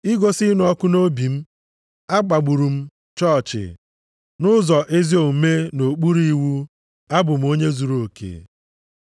igosi ịnụ ọkụ nʼobi m, akpagburu m chọọchị, nʼụzọ ezi omume nʼokpuru iwu, abụ m onye zuruoke.